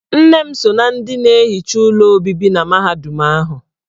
Nne m so ná ndị na-ehicha ụlọ obibi na mahadum ahụ.